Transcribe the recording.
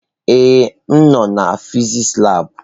Ee, m nọ na fịsịsị labụ.